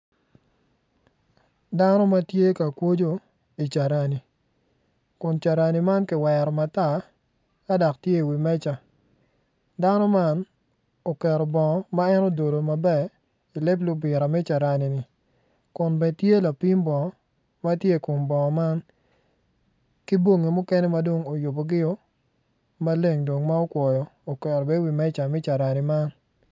Dano ma tye ka kwojo i wi carani kun carani man kiwero matar ka dok tye i wi meja dano man oketo bongo ma en ododo maber i lep lubira me caranini kun bene tye lapim bongo ma tye i kom bongo man ki bongi mukene ma dong oyubogio maleng dong ma okwoyo oket be i wi meja me carani man